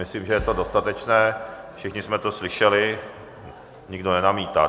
Myslím, že je to dostatečné, všichni jsme to slyšeli, nikdo nenamítá.